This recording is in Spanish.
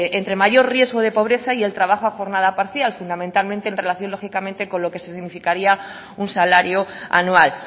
entre mayor riesgo de pobreza y el trabajo a jornada parcial fundamentalmente en relación lógicamente con lo que significaría un salario anual